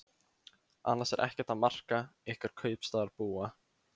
Annars er ekkert að marka ykkur kaupstaðarbúa.